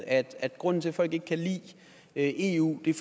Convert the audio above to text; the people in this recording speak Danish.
at grunden til at folk ikke kan lide eu er